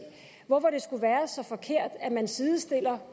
hvorfor det skulle være så forkert at man sidestiller